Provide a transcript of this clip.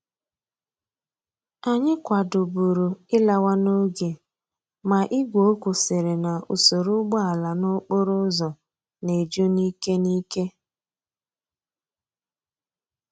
Anyi kwadoburu ilawa n'oge ma igwe okwu siri na usoro úgbòala n'okporo úzò na eju n'ike n'ike.